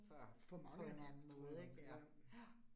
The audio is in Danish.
For på en anden måde ja. Ja